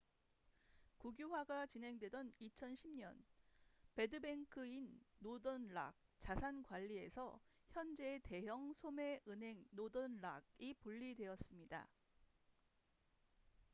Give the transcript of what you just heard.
국유화가 진행되던 2010년 '배드뱅크'인 노던 락자산 관리에서 현재의 대형 소매 은행 노던 락northern rock plc이 분리되었습니다